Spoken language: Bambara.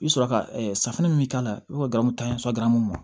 I bɛ sɔrɔ ka safunɛ min k'a la i bɛ kari tan yasa garamu